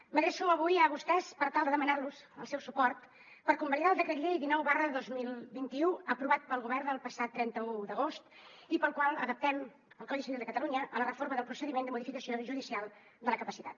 m’adreço avui a vostès per tal de demanar los el seu suport per convalidar el decret llei dinou dos mil vint u aprovat pel govern el passat trenta un d’agost i pel qual adaptem el codi civil de catalunya a la reforma del procediment de modificació judicial de la capacitat